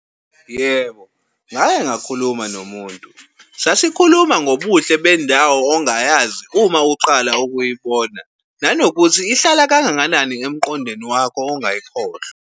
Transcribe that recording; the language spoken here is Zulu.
Yebo, ngake ngakhuluma nomuntu. Sasikhuluma ngobuhle bendawo ongayazi uma uqala ukuyibona nanokuthi ihlala kangakanani emqondweni wakho ungayikhohlwa.